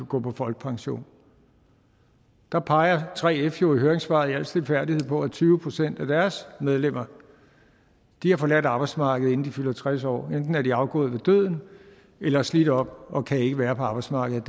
gå på folkepension der peger 3f jo i høringssvaret i al stilfærdighed på at tyve procent af deres medlemmer har forladt arbejdsmarkedet inden de fylder tres år enten er de afgået ved døden eller er slidt op og kan ikke være på arbejdsmarkedet